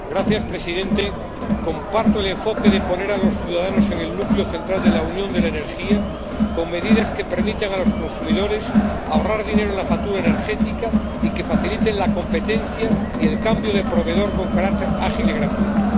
Señor Presidente, comparto el enfoque de poner a los ciudadanos en el núcleo central de la Unión de la energía con medidas que permitan a los consumidores ahorrar dinero en la factura energética y que faciliten la competencia y el cambio de proveedor con carácter ágil y gratuito.